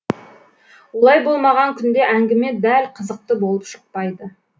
олай болмаған күнде әңгіме дәл қызықты болып шықпайды